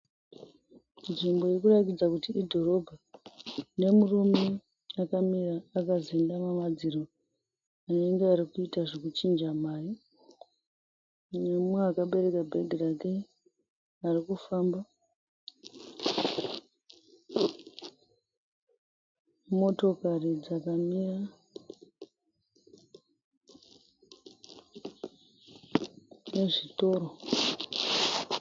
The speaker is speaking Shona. Nzvimbo iri kurakidza kuti idhorobha nemurume akamira akazendama madziro anenge ari kuita zvekuchinja mari nemumwe akabereka bhegi rake ari kufamba. Motokari dzakamira nezvitoro.